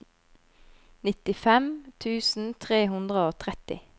nittifem tusen tre hundre og tretti